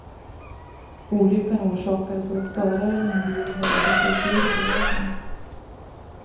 Olyckan orsakades av att föraren i en bil väjde för ett djur på vägen.